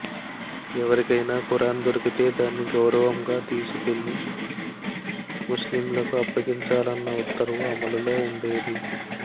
ఎవరికైనా ఖురాన్ దొరికితే దాన్ని గౌరవంగా తీసుకెళ్లి ముస్లింలకు అప్పగించా లన్న ఉత్తర్వు అమలులో ఉండేది